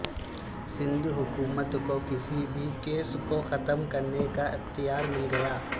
سندھ حکومت کو کسی بھی کیس کو ختم کرنے کا اختیار مل گیا